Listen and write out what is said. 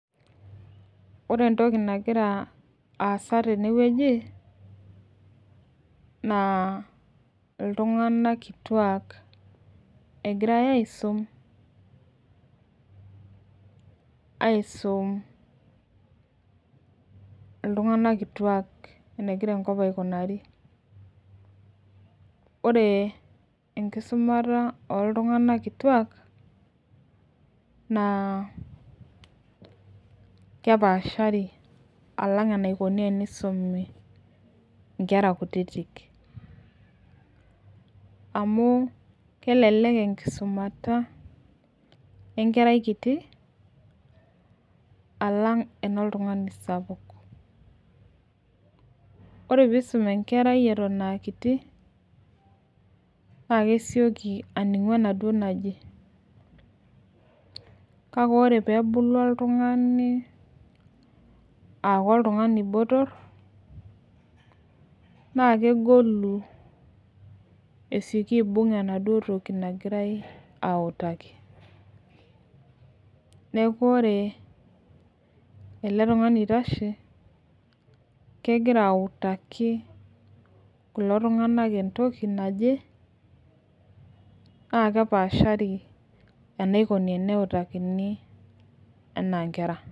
Ore entoki nagira aasa tene wueji naa iltunganak kituak egirae aisum, iltunganak kituak enegira enkop aikunari ore enkisumata oltunganal kituak naa kepaashari alang' enikoni inkera kutitik. amu kelelek enkisumata enkerai kiti alang' enoltungani sapuk ore pee isum enkerai Eton aa kiti, naa kesioki aningu enaduoo naji. kake ore pee ebulu oltungani aaku oltungani botor, naa kegolu esioki aibun enaduoo toki nagirae autaki. neeku ore ele tungani oitashe. kegira autaki kulo tunganak entoki naje. naa kepaashari enaikoni teneutakini anaa nkera.